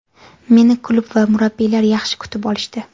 Meni klub va murabbiylar yaxshi kutib olishdi.